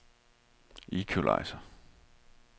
equalizer